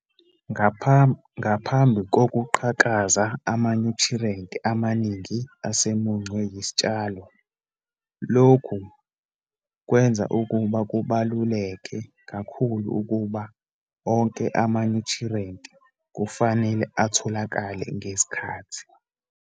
Ngaphambi kokuqhakaza, amanyuthriyenti amaningi asemuncwe yisitshalo. Lokhu kwenza ukuba kubaluleke kakhulu ukuba onke amanyuthriyenti kufanele atholakale ngesikhathi.